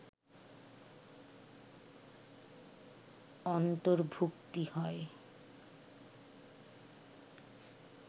অর্ন্তভুক্তি হয়